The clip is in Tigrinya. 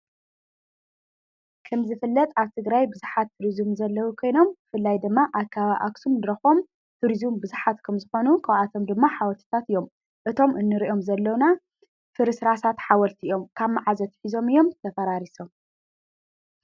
ከም ዝፍለጥ ኣብ ትግራይ ብዝኃት ቱሪዙም ዘለዉ ኴይኖም ብፍላይ ድማ ኣከባቢ ኣኽሡም ዝርከቡ ቱሪዙም ብዙኃት ከም ዝኾኑ ካብኣቶም ድማ ሓወልትታት እዮም እቶም እንርእዮም ዘለዉና ፍርሥራሳት ሓወልቲ እዮም ካብ መዓዝ ኣትሒዞም እዮም ተፈራርይሶም ?